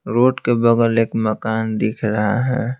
Road के बगल एक मकान दिख रहा है।